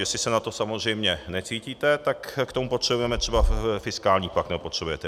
Jestli se na to samozřejmě necítíte, tak k tomu potřebujeme třeba fiskální pakt, nebo potřebujete.